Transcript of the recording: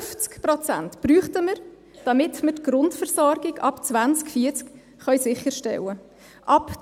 50 Prozent bräuchten wir, damit wir die Grundversorgung ab 2040 sicherstellen können.